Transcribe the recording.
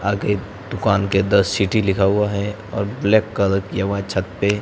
आगे दुकान के द सिटी लिखा हुआ है और ब्लैक कलर किया हुआ है छत पे।